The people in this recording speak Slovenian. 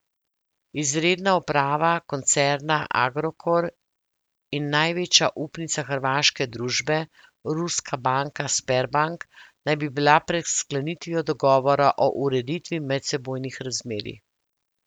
Izredna uprava koncerna Agrokor in največja upnica hrvaške družbe, ruska banka Sberbank, naj bi bila pred sklenitvijo dogovora o ureditvi medsebojnih razmerij.